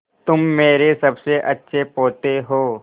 तुम मेरे सबसे अच्छे पोते हो